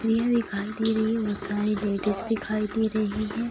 स्त्रियाँ दिखाई दे रही हैं बहुत सारी लेडीज दिखाई दे रही हैं।